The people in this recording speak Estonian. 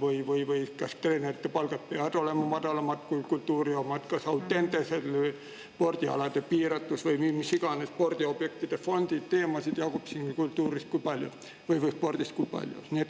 või see, kas treenerite palgad peavad olema madalamad kui kultuuri omad, kas või spordialade piiratus Audenteses või mis iganes spordiobjektide fondid – teemasid jagub spordis kui palju.